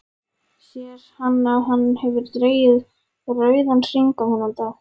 Sér að hann hefur dregið rauðan hring um þennan dag.